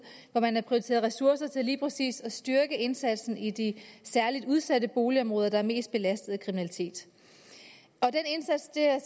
hvor man har prioriteret ressourcer til lige præcis at styrke indsatsen i de særligt udsatte boligområder der er mest belastet af kriminalitet og den indsats det er